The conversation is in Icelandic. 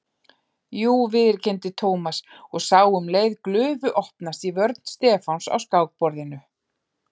Jú viðurkenndi Thomas og sá um leið glufu opnast í vörn Stefáns á skákborðinu.